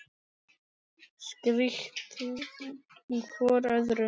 Strítt hvor öðrum.